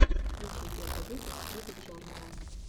включи первый выпуск гик джорнала